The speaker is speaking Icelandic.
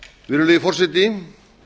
virðulegi forseti